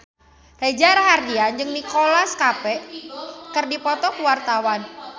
Reza Rahardian jeung Nicholas Cafe keur dipoto ku wartawan